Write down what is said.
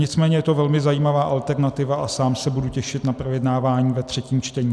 Nicméně je to velmi zajímavá alternativa a sám se budu těšit na projednávání ve třetím čtení.